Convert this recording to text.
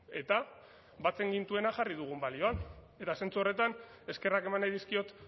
eta batzen gintuena jarri dugu balioan eta zentzu horretan eskerrak eman nahi dizkiot